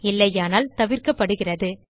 இல்லையானால் தவிர்க்கப்படுகிறது